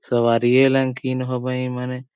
सवारिएं लयन कीन होबई ए मने ।